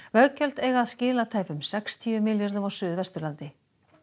veggjöld eiga að skila tæpum sextíu milljörðum á Suðvesturlandi